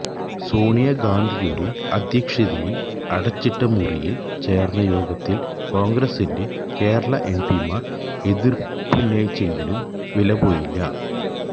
സോണിയ ഗാന്ധിയുടെ അധ്യക്ഷതയില് അടച്ചിട്ട മുറിയില് ചേര്ന്ന യോഗത്തില് കോണ്ഗ്രസിന്റെ കേരള എംപിമാര് എതിര്പ്പുന്നയിച്ചെങ്കിലും വിലപ്പോയില്ല